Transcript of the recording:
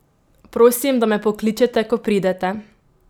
Prosim, da me pokličete, ko pridete!